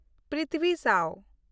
ᱯᱨᱤᱛᱷᱵᱷᱤ ᱥᱟᱣ